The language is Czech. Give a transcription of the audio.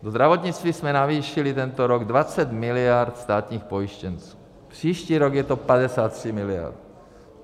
Do zdravotnictví jsme navýšili tento rok 20 miliard státních pojištěnců, příští rok je to 53 miliard.